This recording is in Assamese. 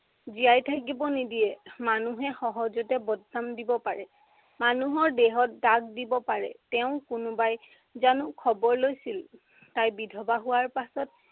জীয়াই থাকিব নিদিয়ে। মানুহে সহজতে বদনাম দিব পাৰে। মানুহৰ দেহত দাগ দিব পাৰে। তেওঁৰ কোনোবাই জানো খবৰ লৈছিল, তাই বিধৱা হোৱাৰ পাছত